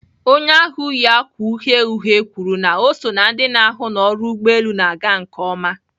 Onye ahụ yi ákwà uhie uhie kwuru na ọ so ná ndị na-ahụ na ọrụ ụgbọelu na-aga nke ọma.